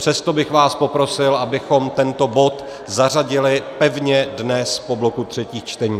Přesto bych vás poprosil, abychom tento bod zařadili pevně dnes po bloku třetích čtení.